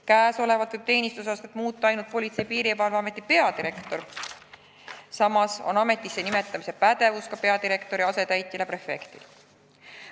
Praegu võib teenistusastet muuta ainult Politsei- ja Piirivalveameti peadirektor, samas on ametisse nimetamise pädevus ka peadirektori asetäitjal ja prefektil.